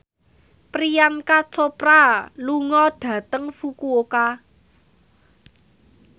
Priyanka Chopra lunga dhateng Fukuoka